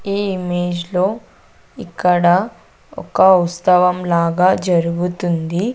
ఈ ఇమేజ్ లో ఇక్కడ ఒక ఉత్సవం లాగా జరుగుతుంది.